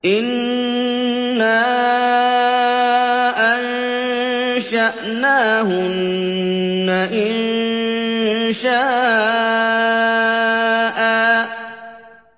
إِنَّا أَنشَأْنَاهُنَّ إِنشَاءً